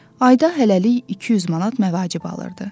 Ayda hələlik 200 manat məvacib alırdı.